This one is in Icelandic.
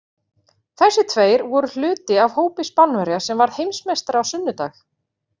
Þessir tveir voru hluti af hópi Spánverja sem varð Heimsmeistari á sunnudag.